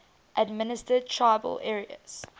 administered tribal areas